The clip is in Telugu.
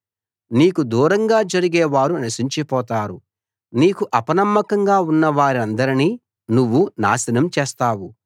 నీకు దూరంగా జరిగేవారు నశించిపోతారు నీకు అపనమ్మకంగా ఉన్నవారందరినీ నువ్వు నాశనం చేస్తావు